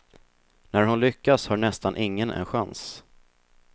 När hon lyckas har nästan ingen en chans.